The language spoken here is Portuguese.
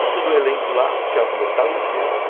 Tá todo o elenco lá, teatro lotado de crianças.